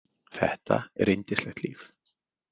Þetta er yndislegt líf!